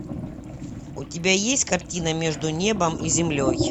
у тебя есть картина между небом и землей